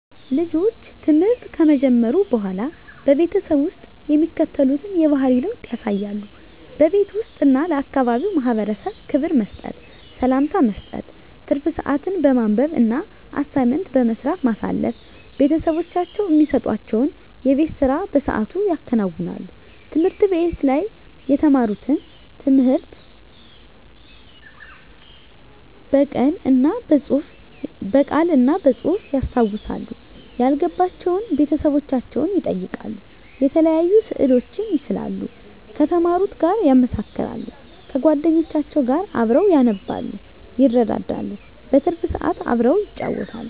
ልጆች ትምህርት ከጀመሩ በሆላ በቤተሰብ ውስጥ የሚከተሉትን የባህሪ ለውጥ ያሳያሉ:-በቤት ውስጥ እና ለአካባቢው ማህበረሰብ ክብር መስጠት፤ ሰላምታ መስጠት፤ ትርፍ ስአትን በማንበብ እና አሳይመንት በመስራት ማሳለፍ፤ ቤተሰቦቻቸው እሚሰጡዋቸውን የቤት ስራ በስአቱ ያከናውናሉ፤ ትምህርት ቤት ላይ የተማሩትን ትምህርት ብቅል እና በጹህፍ ያስታውሳሉ፤ ያልገባቸውን ቤተሰቦቻቸውን ይጠይቃሉ፤ የተለያዩ ስእሎችን ይስላሉ ከተማሩት ጋር ያመሳክራሉ፤ ከጎደኞቻቸው ጋር አብረው ያነባሉ ይረዳዳሉ። በትርፍ ስአት አብረው ይጫወታሉ።